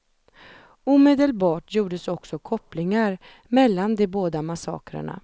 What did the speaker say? Omedelbart gjordes också kopplingar mellan de båda massakrerna.